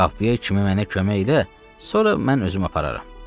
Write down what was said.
Qapıya kimi mənə kömək elə, sonra mən özüm apararam.